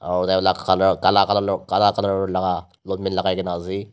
owolae alak kala colour laka long pant lakai na ase.